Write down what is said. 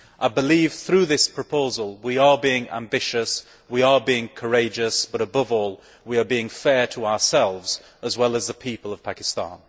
I believe through this proposal we are being ambitious, we are being courageous, but, above all, we are being fair to ourselves, as well as to the people of Pakistan.